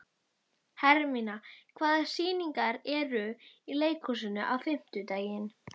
Hermína, hvaða sýningar eru í leikhúsinu á fimmtudaginn?